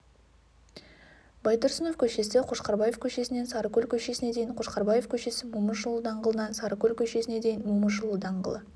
байтұрсынов көшесі қошқарбаев көшесінен сарыкөл көшесіне дейін қошқарбаев көшесі момышұлы даңғылынан сарыкөл көшесіне дейін момышұлы даңғылы